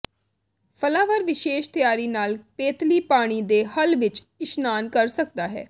flower ਵਿਸ਼ੇਸ਼ ਤਿਆਰੀ ਨਾਲ ਪੇਤਲੀ ਪਾਣੀ ਦੇ ਹੱਲ ਵਿਚ ਇਸ਼ਨਾਨ ਕਰ ਸਕਦਾ ਹੈ